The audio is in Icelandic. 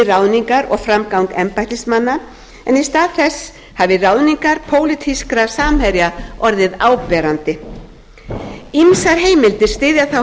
ráðningar og framgang embættismanna en í stað þess hafi ráðningar pólitískra samherja orðið áberandi ýmsar heimildir styðja þá